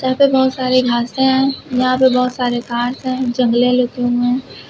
यहां पे बहुत सारी घासें हैं। यहां पे बहुत सारे कार्स हैं। जंगले लगे हुए हैं।